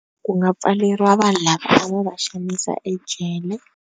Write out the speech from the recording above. Ku nga pfaleriwa vanhu lavo va xanisa ejele.